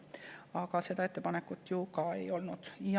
Aga seda ettepanekut ju ka ei olnud.